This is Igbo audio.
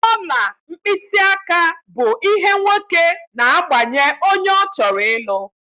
Ọla mkpịsị aka bụ ihe nwoke na-agbanye onye ọ chọrọ ịlụ.